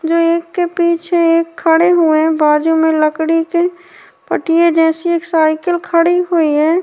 जो एक के पीछे एक खड़े हुए हैं। बाजू मे लकड़ी के पटिये जैसी एक साइकिल खड़ी हुई है।